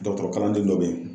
Dɔkɔtɔrɔkalanden dɔ be yen.